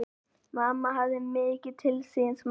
Mamma hafði mikið til síns máls.